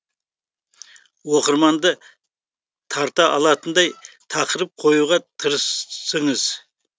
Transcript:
оқырманды тарта алатындай тақырып қоюға тырысыңыз